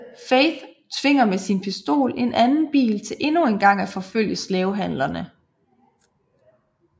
Faith tvinger med sin pistol en anden bil til endnu engang at forfølge slavehandlerne